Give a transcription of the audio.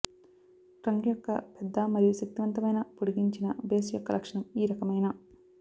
trunk యొక్క పెద్ద మరియు శక్తివంతమైన పొడిగించిన బేస్ యొక్క లక్షణం ఈ రకమైన